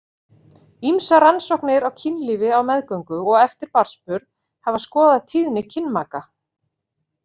Ýmsar rannsóknir á kynlífi á meðgöngu og eftir barnsburð hafa skoðað tíðni kynmaka.